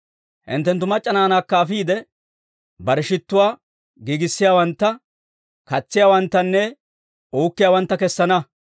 Hinttenttu mac'c'a naanaakka afiide, barew shittuwaa giigissiyaawantta, katsiyaawanttanne uukkiyaawantta kessana.